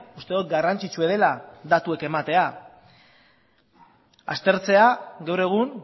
uste dut garrantzitsua dela datuak ematea aztertzea gaur egun